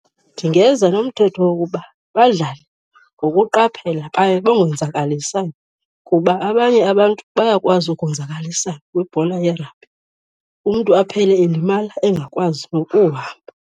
Ndingeza nomthetho wokuba badlale ngokuqaphelela baye bangonzakalisani, kuba abanye abantu bayakwazi ukuzonzakalisana kwibhola ye-rugby. Umntu aphele elimala engakwazi nokuhamba.